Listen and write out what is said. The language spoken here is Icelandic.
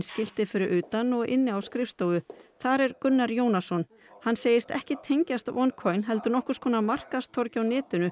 skilti fyrir utan og inni á skrifstofu þar er Gunnar Jónasson hann segist ekki tengjast heldur nokkurs konar markaðstorgi á netinu